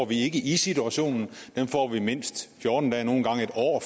vi ikke i situationen dem får vi mindst fjorten dage nogle gange et år